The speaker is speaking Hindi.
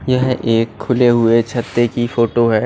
यह एक खुली हुई छत्त की फोटो है।